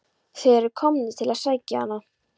Þeir eru komnir til að sækja hana.